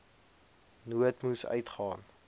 nood moes uitgaan